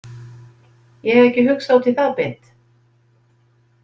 Ég hef ekki hugsað út í það beint.